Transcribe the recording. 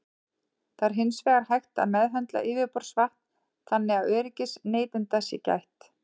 Það er hins vegar hægt að meðhöndla yfirborðsvatn þannig að öryggis neytenda sé gætt.